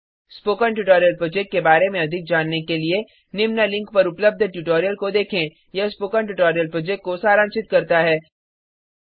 spoken tutorial project के बारें में अधिक जानने के लिए निम्न लिंक पर उपलब्ध ट्यूटोरियल को देखें यह प्रोजेक्ट को सारांशित करता है